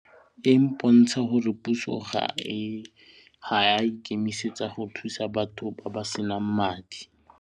E mpontsha gore puso ga e a ikemisetsa go thusa batho ba ba senang madi.